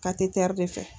Ka tete de fɛ